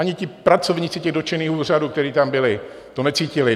Ani ti pracovníci těch dotčených úřadů, kteří tam byli, to necítili.